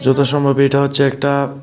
যথা সম্ভব এটা হচ্ছে একটা--